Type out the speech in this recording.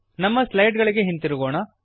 ನಮ್ಮ ಸ್ಲೈಡ್ ಗಳಿಗೆ ಹಿಂದಿರುಗೋಣ